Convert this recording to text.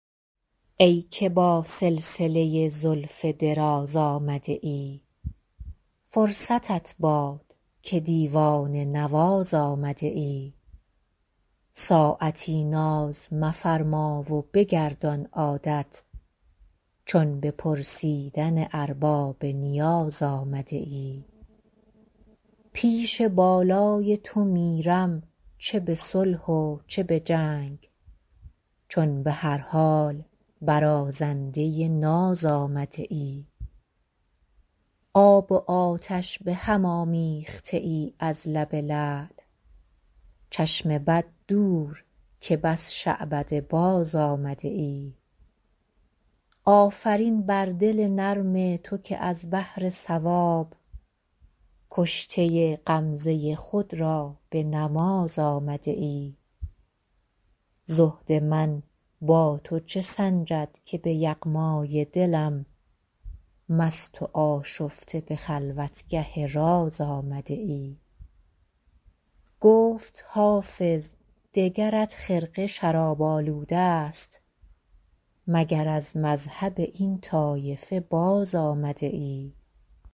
ای که با سلسله زلف دراز آمده ای فرصتت باد که دیوانه نواز آمده ای ساعتی ناز مفرما و بگردان عادت چون به پرسیدن ارباب نیاز آمده ای پیش بالای تو میرم چه به صلح و چه به جنگ چون به هر حال برازنده ناز آمده ای آب و آتش به هم آمیخته ای از لب لعل چشم بد دور که بس شعبده باز آمده ای آفرین بر دل نرم تو که از بهر ثواب کشته غمزه خود را به نماز آمده ای زهد من با تو چه سنجد که به یغمای دلم مست و آشفته به خلوتگه راز آمده ای گفت حافظ دگرت خرقه شراب آلوده ست مگر از مذهب این طایفه باز آمده ای